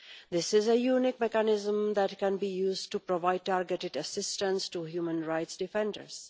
This is a unique mechanism that can be used to provide targeted assistance to human rights defenders.